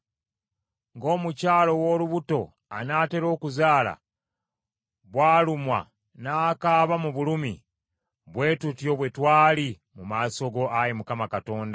Ng’omukyala ow’olubuto anaatera okuzaala, bw’alumwa n’akaaba mu bulumi, bwe tutyo bwe twali mu maaso go, Ayi Mukama Katonda.